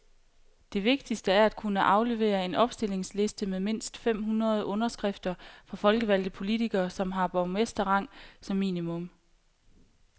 Det vigtigste er at kunne aflevere en opstillingsliste med mindst fem hundrede underskrifter fra folkevalgte politikere, som har borgmesterrang som minimum.